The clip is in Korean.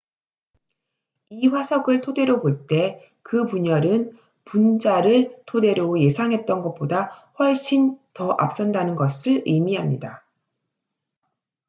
"""이 화석을 토대로 볼 때 그 분열은 분자를 토대로 예상했던 것보다 훨씬 더 앞선다는 것을 의미합니다.